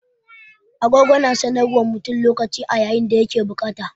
Agogo na sanar wa mutum lokaci a yayin da ya ke da bukata.